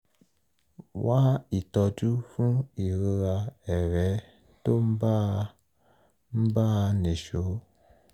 wá ìtọ́jú fún ìrora ẹ̀rẹ́ tó ń bá a nìṣó